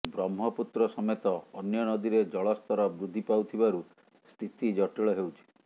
ବ୍ରହ୍ମପୁତ୍ର ସମେତ ଅନ୍ୟ ନଦୀରେ ଜଳସ୍ତର ବୃଦ୍ଧି ପାଉଥିବାରୁ ସ୍ଥିତି ଜଟିଳ ହେଉଛି